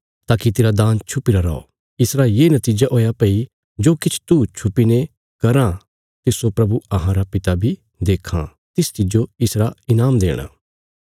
ताकि तेरा दान छुपीरा रौ इसरा ये नतीजा हुया भई जो किछ तू छुपीने कराँ तिस्सो प्रभु अहांरा पिता बी देक्खां तिस तिज्जो इसरा ईनाम देणा